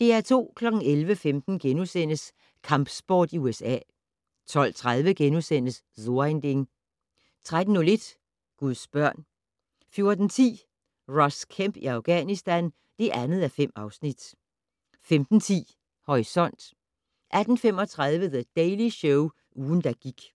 11:15: Kampsport i USA * 12:30: So ein Ding * 13:01: Guds børn 14:10: Ross Kemp i Afghanistan (2:5) 15:10: Horisont 18:35: The Daily Show - ugen, der gik